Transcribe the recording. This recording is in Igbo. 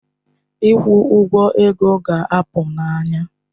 Ịgwọ ọgwụ ego ga-apụ n'anya